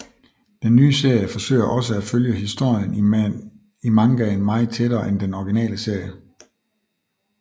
Den nye serie forsøger også at følge historien i mangaen meget tættere end den originale serie